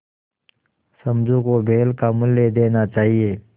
समझू को बैल का मूल्य देना चाहिए